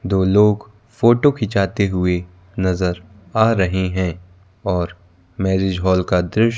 दो लोग फोटो खींचाते हुए नजर आ रहे हैं और मैरिज हॉल का दृश्य--